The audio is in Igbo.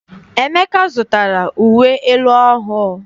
Emeka zụtara uwe elu ọhụụ.